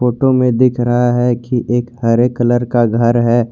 Photo में दिख रहा है कि एक हरे कलर का घर है।